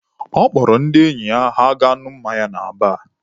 Ọ kpọrọ ndị enyi ya ha gaa ṅụọ mmanya na baar.